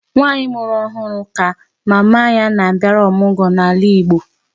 Nwaanyị mụrụ nwa ọhụụ kaba na-abịara ọmụgọ n'ala Igbo.